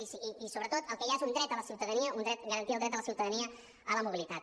i sobretot el que hi ha és un dret de la ciutadania un dret garantir el dret de la ciutadania a la mobilitat